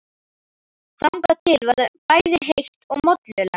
Þangað til verður bæði heitt og mollulegt.